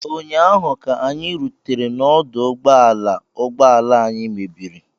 Ụnyaahụ, ka anyị rutere n'ọdụ ụgbọ ala ụgbọ ala anyị mebiri